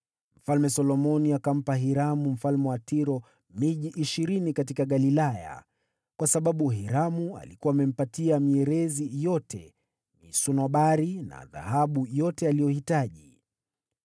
Mfalme Solomoni akampa Hiramu mfalme wa Tiro miji ishirini katika Galilaya, kwa sababu Hiramu alikuwa amempatia mierezi yote, misunobari na dhahabu yote aliyohitaji.